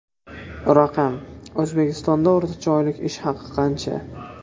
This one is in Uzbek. Raqam: O‘zbekistonda o‘rtacha oylik ish haqi qancha?.